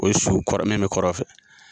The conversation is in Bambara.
O su kɔrɔ min bɛ kɔrɔn fɛ